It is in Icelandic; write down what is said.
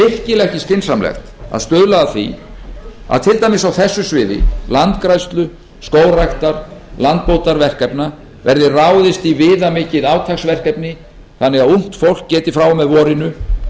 virkilega ekki skynsamlegt að stuðla að því að til dæmis á þessu sviði landgræðslu skógræktar landbótarverkefna verði ráðist í viðmikið átaksverkefni þannig að ungt fólk geti frá og með vorinu